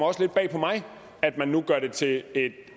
også lidt bag på mig at man nu gør det til